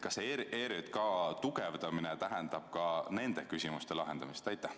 Kas see ERJK tugevdamine tähendab ka nende küsimuste lahendamist?